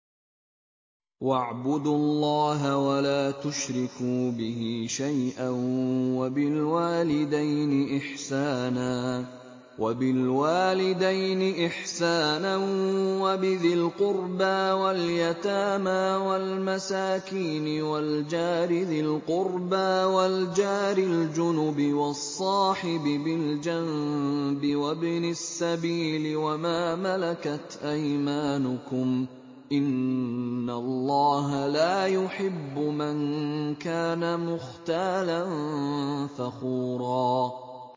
۞ وَاعْبُدُوا اللَّهَ وَلَا تُشْرِكُوا بِهِ شَيْئًا ۖ وَبِالْوَالِدَيْنِ إِحْسَانًا وَبِذِي الْقُرْبَىٰ وَالْيَتَامَىٰ وَالْمَسَاكِينِ وَالْجَارِ ذِي الْقُرْبَىٰ وَالْجَارِ الْجُنُبِ وَالصَّاحِبِ بِالْجَنبِ وَابْنِ السَّبِيلِ وَمَا مَلَكَتْ أَيْمَانُكُمْ ۗ إِنَّ اللَّهَ لَا يُحِبُّ مَن كَانَ مُخْتَالًا فَخُورًا